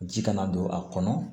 Ji kana don a kɔnɔ